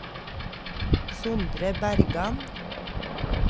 Sondre Bergan